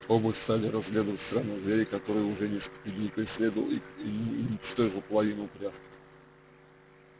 оба стали разглядывать странного зверя который уже несколько дней преследовал их и уничтожил половину упряжки